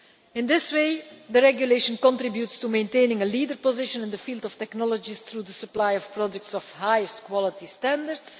In this way the regulation contributes to maintaining a leader position in the field of technologies through the supply of products of highest quality standards.